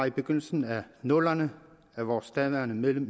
i begyndelsen af nullerne af vores daværende medlem